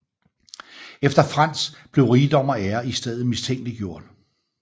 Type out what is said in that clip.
Efter Frans blev rigdom og ære i stedet mistænkeliggjort